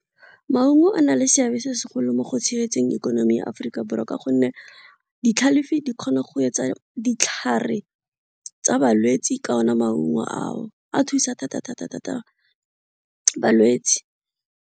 Maungo a na le seabe se segolo mo go tshegetseng ikonomi ya Aforika Borwa ka gonne ditlhalefi di kgona go etsa ditlhare tsa balwetsi ka ona maungo ao a thusa thata-thata-thata balwetsi.